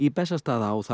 Bessastaðaá